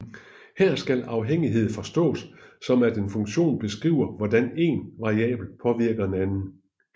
Her skal afhængighed forstås som at en funktion beskriver hvordan én variabel påvirker en anden